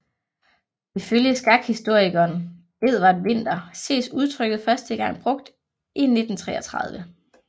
Ifølge skakhistorikeren Edward Winter ses udtryket første gang brugt i 1933